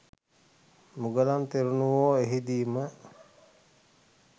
මුගලන් තෙරණුවෝ එහිදීම